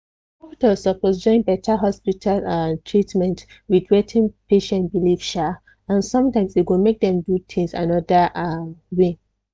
doctor suppose join better hospital um treatment with wetin patient believe um and sometimes e go make dem do things another um way